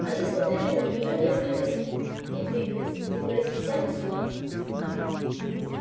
они смотрели на нее несколько секунд не двигаясь не произнося ни слова